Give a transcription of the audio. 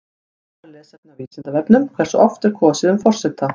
Frekara lesefni á Vísindavefnum: Hversu oft er kosið um forseta?